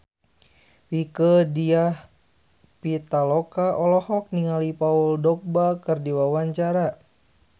Rieke Diah Pitaloka olohok ningali Paul Dogba keur diwawancara